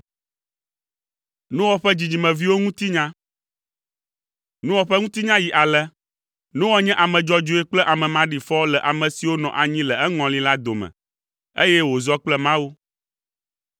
Noa ƒe ŋutinya yi ale: Noa nye ame dzɔdzɔe kple ame maɖifɔ le ame siwo nɔ anyi le eŋɔli la dome, eye wòzɔ kple Mawu.